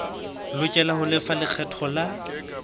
lokela ho lefa lekgetho la